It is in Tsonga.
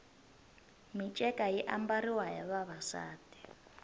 minceka yi ambariwa hi vavasati